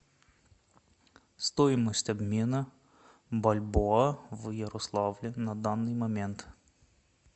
стоимость обмена бальбоа в ярославле на данный момент